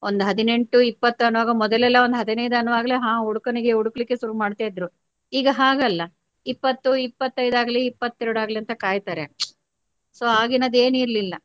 ಒಂದು ಹದಿನೆಂಟು ಇಪ್ಪತ್ತು ಅನ್ನುವಾಗಲೇ ಮೊದಲೆಲ್ಲಾ ಒಂದು ಹದಿನೈದು ಅನ್ನುವಾಗಲೇ ಹ ಹುಡುಗನಿಗೆ ಹುಡುಕ್ಲಿಕ್ಕೆ ಸುರು ಮಾಡ್ತಾ ಇದ್ರು ಈಗ ಹಾಗಲ್ಲಾ ಇಪ್ಪತ್ತು ಇಪ್ಪತೈದು ಆಗ್ಲಿ ಇಪ್ಪತ್ತೆರಡು ಆಗ್ಲಿ ಅಂತಾ ಕಾಯ್ತಾರೆ so ಆಗಿನದೂ ಏನು ಇರ್ಲಿಲ್ಲ.